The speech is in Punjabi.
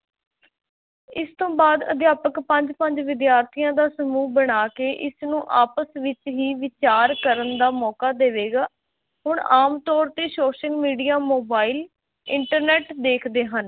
ਇਸ ਤੋਂ ਬਾਅਦ ਅਧਿਆਪਕ ਪੰਜ-ਪੰਜ ਵਿਦਿਆਰਥੀਆਂ ਦਾ ਸਮੂਹ ਬਣਾ ਕੇ ਇਸਨੂੰ ਆਪਸ ਵਿੱਚ ਹੀ ਵਿਚਾਰ ਕਰਨ ਦਾ ਮੌਕਾ ਦੇਵੇਗਾ, ਹੁਣ ਆਮ ਤੌਰ ਤੇ social media, mobile, internet ਦੇਖਦੇ ਹਨ,